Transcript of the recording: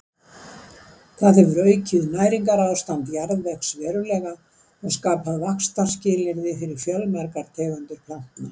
Það hefur aukið næringarástand jarðvegs verulega og skapað vaxtarskilyrði fyrir fjölmargar tegundir plantna.